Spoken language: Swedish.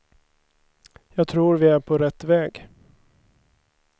Jag tror vi är på rätt väg.